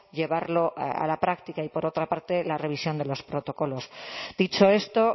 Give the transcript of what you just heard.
llevarlo a la práctica y por otra parte la revisión de los protocolos dicho esto